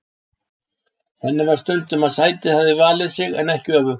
Henni fannst stundum að sætið hefði valið sig en ekki öfugt.